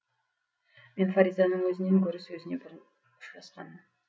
мен фаризаның өзінен гөрі сөзіне бұрын ұшырасқанмын